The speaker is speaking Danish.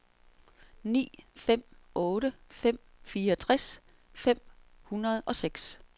ni fem otte fem fireogtres fem hundrede og seks